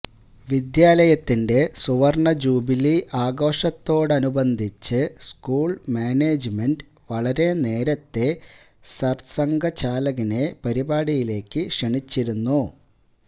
വിദ്യാലയത്തിന്റെ സുവര്ണ്ണജൂബിലി ആഘോഷത്തോടനുബന്ധിച്ച് school management വളരെ നേരത്തെ സര്സംഘചാലകിനെ പരിപാടിയിലേക്ക് ക്ഷണിച്ചിരുന്നു